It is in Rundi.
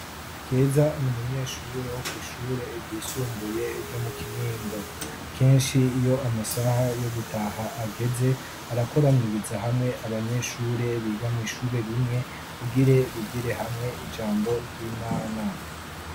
keza numunyeshuri wo ku ishure ryisumbuye ryo mu kinindo kenshi iyo amasaha yo gutaha ageze arakoraniriza hamwe abanyeshuri bigamwishuri rimwe kugire bigire hamwe ijambo ry'imana